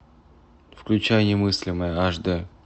включай немыслимое аш д